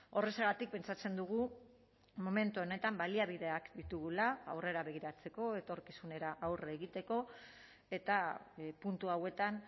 horrexegatik pentsatzen dugu momentu honetan baliabideak ditugula aurrera begiratzeko etorkizunera aurre egiteko eta puntu hauetan